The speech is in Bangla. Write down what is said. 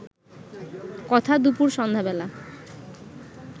কথা দুপুর সন্ধ্যা বেলা